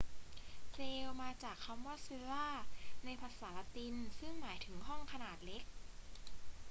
เซลล์ มาจากคำว่า cella ในภาษาละตินซึ่่งหมายถึงห้องขนาดเล็ก